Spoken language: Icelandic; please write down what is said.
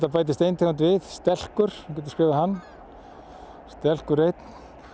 bætist ein tegund við stelkur þú getur skrifað hann stelkur einn